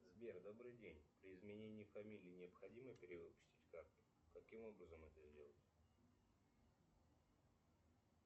сбер добрый день при изменении фамилии необходимо перевыпустить карту каким образом это сделать